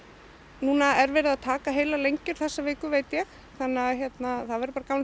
núna er verið að taka heilar lengjur þessa viku veit ég þannig að það verður bara gaman